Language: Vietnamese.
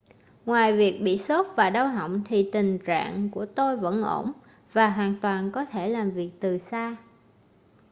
ngoài việc bị sốt và đau họng thì tình rạng của tôi vẫn ổn và hoàn toàn có thể làm việc từ xa